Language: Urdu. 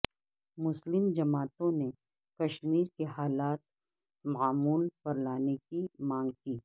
مسلم جماعتوں نے کشمیر کے حالات معمول پر لانے کی مانگ کی